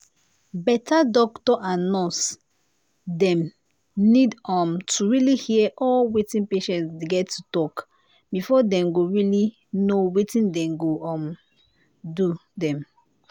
better doctor and nurse dem need um to really hear all wetin patients get to talk before dem go really know wetin dey go um do them